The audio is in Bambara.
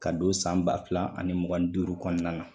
Ka don san ba fila ani mugan ni duuru kɔnɔna na